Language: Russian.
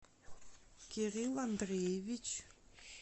кирилл андреевич